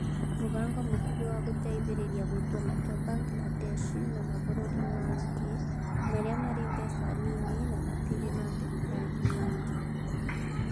Mũbango Mũkuhĩ wa Gũteithĩrĩria Gũtua Matua Bangaladeshi na Mabũrũri mangĩ Marĩa Marĩ Mbeca Nyinyi na Matirĩ na Mbeca Nyinyi